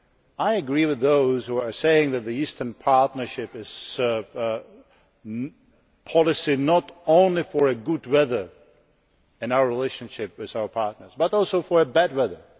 I agree with those who say that the Eastern Partnership is a policy not only for good weather in our relationship with our partners, but also for bad weather